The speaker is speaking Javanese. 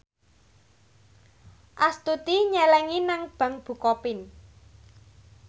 Astuti nyelengi nang bank bukopin